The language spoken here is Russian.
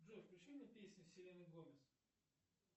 джой включи мне песни селены гомес